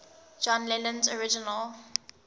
john lennon's original